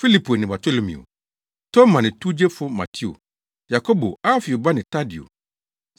Filipo ne Bartolomeo, Toma ne towgyefo Mateo, Yakobo, Alfeo ba ne Tadeo,